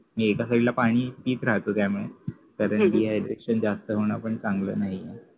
एका side ला पाणी पित राहत त्यामुळे dehydration जास्त होणं पण चांगलं नाही